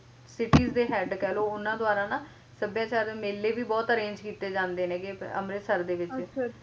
ਸੱਭਿਆਚਾਰ ਮੇਲੇ ਵੀ ਬਹੁਤ arrange ਕੀਤੇ ਜਾਂਦੇ ਨੀ ਗੇ ਅੰਮ੍ਰਿਤਸਰ ਦੇ ਵਿੱਚ